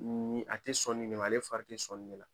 N ni a ti sɔn nin de ma, ale fari te sɔn nin de la.